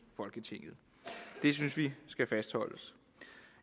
folketinget det synes vi skal fastholdes